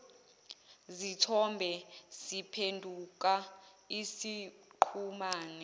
zithombe siphenduka isiqhumane